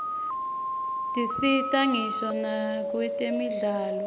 tisita ngisho nakwetemidlalo